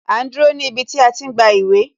A ń dúró ní ibi tí a ti gba ìwé